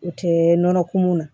U tɛ nɔnɔ kumu na